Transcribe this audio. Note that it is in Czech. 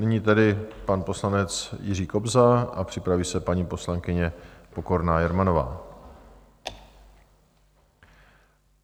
Nyní tedy pan poslanec Jiří Kobza a připraví se paní poslankyně Pokorná Jermanová.